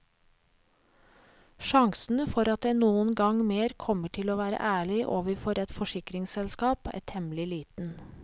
Sjansene for at jeg noen gang mer kommer til å være ærlig overfor et forsikringsselskap, er temmelig liten.